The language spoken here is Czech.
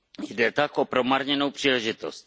Jde tak o promarněnou příležitost.